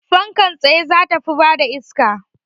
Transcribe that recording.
Fankar tsaye za ta fi bada iska